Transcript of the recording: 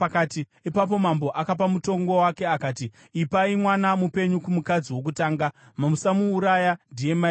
Ipapo mambo akapa mutongo wake akati, “Ipai mwana mupenyu kumukadzi wokutanga. Musamuuraya; ndiye mai vake.”